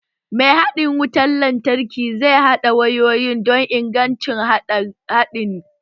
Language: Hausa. Ma haɗin wutar lantarki zai haɗa wayoyi don ingantaccen haɗin lantarki